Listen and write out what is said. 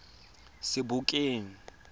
sebokeng